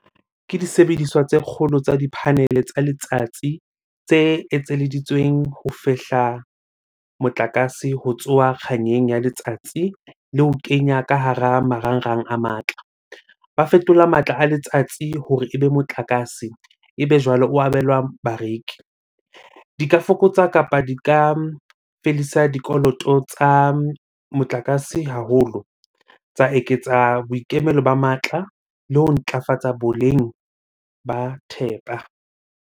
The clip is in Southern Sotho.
Ke disebediswa tse kgolo tsa di-panel tsa letsatsi tse etseditsweng ho fehla motlakase ho tsoha kganyeng ya letsatsi le ho kenya ka hara marangrang a matla. Ba fetola matla a letsatsi hore ebe motlakase, ebe jwale o abelwa bareki. Di ka fokotsa kapa di ka fedisa dikoloto tsa motlakase haholo. Tsa eketsa boikemelo ba matla le ho ntlafatsa boleng ba thepa.